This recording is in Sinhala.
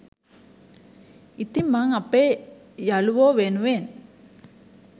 ඉතින් මං අපේ යලුවෝ වෙනුවෙන්